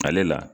Ale la